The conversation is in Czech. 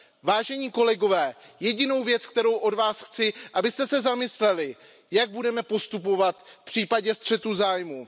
Vážení kolegové, jedinou věc, kterou od vás chci, je, abyste se zamysleli, jak budeme postupovat v případě střetu zájmů.